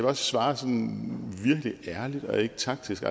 også svare sådan virkelig ærligt og ikke taktisk